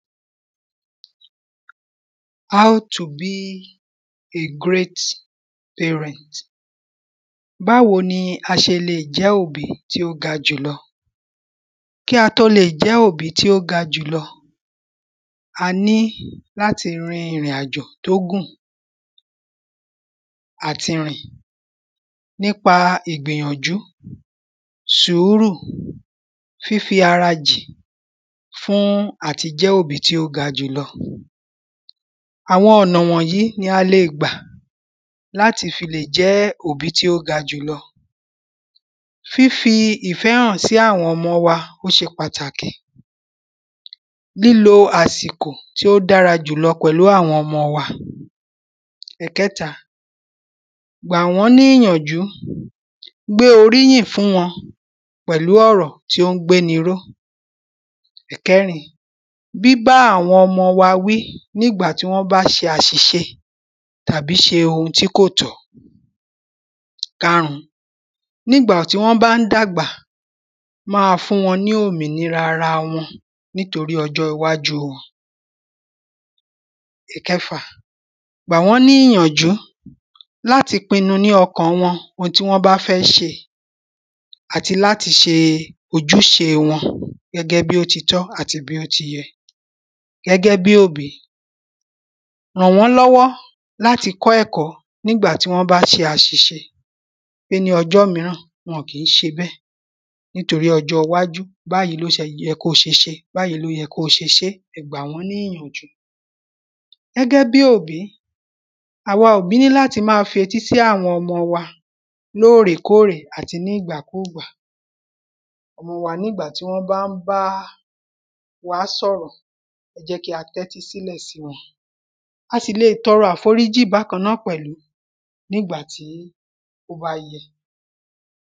How To Be a Great Parent báwo ni a ṣe lè jẹ́ òbí tí ó ga jùlọ? kí á tó lè jẹ́ òbí tí ó ga jùlọ a ní láti rin ìrìn àjò tó gùn à ti rìn nípa ìgbìyànjú, sùúrù, fífi arajìn fún àti jẹ́ òbí tí ó ga jùlọ àwọn ọ̀nà wọ̀nyìí ni a lè gbà láti fi lè jẹ́ òbí tí ó ga jùlọ fífi ìfẹ́ hàn sí àwọn ọmọ wa ó ṣe pàtàkì lílo àsìkò tí ó dára jùlọ pẹ̀lú àwọn ọmọ wa ẹ̀kẹ́ta, gbàwọ́n ní ìyànjú, gbé oríyìn fún wọn pẹ̀lú ọ̀rọ̀ tí ó ń gbéni ró ẹ̀kẹ́rin, bíbá àwọn ọmọ wa wí ní ìgbà tí wọ́n bá ṣe àsìṣe tàbí ṣe ohun tí kò tọ́ ìkarùn ún, ní ìgbà tí wọ́n bá ń dàgbà, máa fún wọn ní òmìnira ara wọn nítorí ọjọ́ iwájú wọn ìkẹfà, gbàwọ́n ní ìyànjú láti pinnu ní ọkàn wọn ohun tí wọ́n bá fẹ́ ṣe àti láti ṣe ojúṣe wọn gẹ́gẹ́ bí ó ti tọ́ àti bí ó ti yẹ gẹ́gẹ́ bí òbí, ràn wọ́n lọ́wọ́ láti kọ́ ẹ̀kọ́ nígbà tí wọ́n bá ṣe àsìṣe pé ní ọjọ́ míràn wọn kìí ṣe bẹ́ẹ̀ nítorí ọjọ́ iwájú báyìí ló ṣe yẹ kóo ṣe ṣé, báyìí ló yẹ kóo ṣe ṣé, ẹ gbà wọ́n ní ìyànjú gẹ́gẹ́ bí òbí, àwa òbí ní láti máa fi etí sí àwọn ọmọ wa lóòrè kóòrè àti ní ìgbà kúùgbà gbogbo wa ní ìgbà tí wọ́n bá ń bá waá sọ̀rọ̀ ẹ jẹ́ kí a tẹ́tí sílẹ̀ sí wọn. a sì leè tọrọ àforíjì bákan náà pẹ̀lú nígbà tí ó bá yẹ